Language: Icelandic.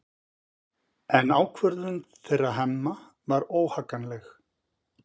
En ákvörðun þeirra Hemma var óhagganleg.